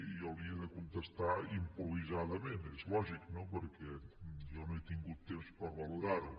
jo li he de contestar improvisadament és lògic no perquè jo no he tingut temps per valorar ho